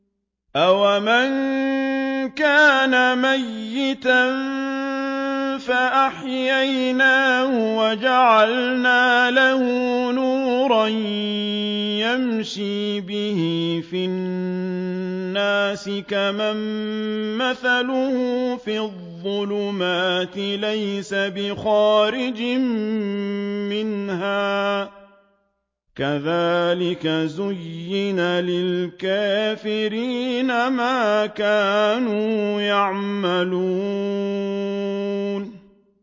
أَوَمَن كَانَ مَيْتًا فَأَحْيَيْنَاهُ وَجَعَلْنَا لَهُ نُورًا يَمْشِي بِهِ فِي النَّاسِ كَمَن مَّثَلُهُ فِي الظُّلُمَاتِ لَيْسَ بِخَارِجٍ مِّنْهَا ۚ كَذَٰلِكَ زُيِّنَ لِلْكَافِرِينَ مَا كَانُوا يَعْمَلُونَ